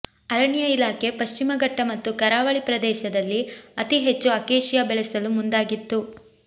ಅರಣ್ಯ ಇಲಾಖೆ ಪಶ್ಚಿಮ ಘಟ್ಟ ಮತ್ತು ಕರಾವಳಿ ಪ್ರದೇಶದಲ್ಲಿ ಅತಿ ಹೆಚ್ಚು ಅಕೇಶಿಯಾ ಬೆಳೆಸಲು ಮುಂದಾಗಿತ್ತು